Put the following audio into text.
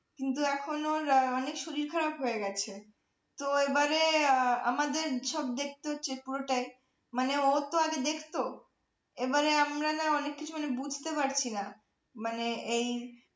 কিন্তু, এখন ওর অনেক শরীর খারাপ হয়ে গেছে তো এবারে আমাদের সব দেখতে হচ্ছে পুরোটাই । মানে, ও তো আগে দেখত। এবারে আমরা না অনেক কিছুই বুঝতে পারছি না মানে এই